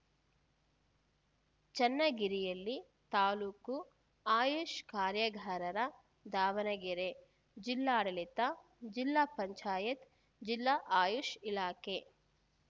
ಚನ್ನಗಿರಿಯಲ್ಲಿ ತಾಲೂಕು ಆಯುಷ್‌ ಕಾರ್ಯಾಗಾರ ದಾವಣಗೆರೆ ಜಿಲ್ಲಾಡಳಿತ ಜಿಲ್ಲಾ ಪಂಚಾಯತ್ ಜಿಲ್ಲಾ ಆಯುಷ್‌ ಇಲಾಖೆ